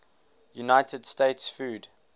united states food